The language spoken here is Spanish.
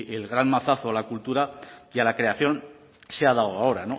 el gran mazazo a la cultura y a la creación se ha dado ahora